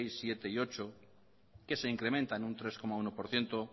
sexto séptimo y octavo que se incrementan en un tres coma uno por ciento